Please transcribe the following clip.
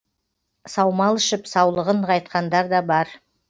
саумал ішіп саулығын нығайтқандар да бар